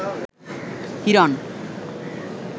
Hiran